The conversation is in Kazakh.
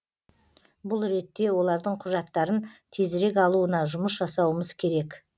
бұл ретте олардың құжаттарын тезірек алуына жұмыс жасауымыз керек